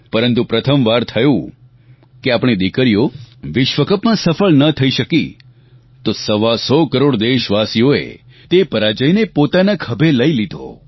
પરંતુ પ્રથમવાર થયું કે જ્યારે આપણી દિકરીઓ વિશ્વકપમાં સફળ ન થઈ શકી તો સવા સો કરોડ દેશવાસીઓએ તે પરાજયને પોતાના ખભે લઇ લીધો